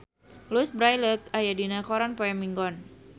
Louise Brealey aya dina koran poe Minggon